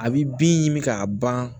A bi bin ɲimi k'a ban